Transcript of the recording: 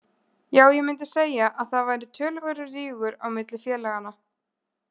Já ég mundi segja að það væri töluverður rígur á milli félaganna.